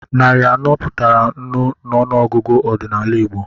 Narị anọ pụtara nnu n'ọnụọgụgụ ọdịnala Igbo.